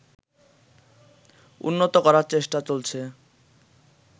উন্নত করার চেষ্টা চলছে